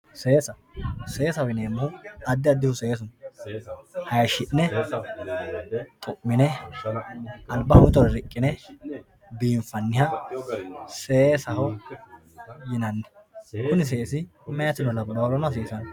Seessa, seessaho yineemohu adi adihu seessu no, haayisi'ne xu'mine, alibaho mittore riqqine biinfanniha seessaho yinanni kuni seessi meyaterano labahurano hasisano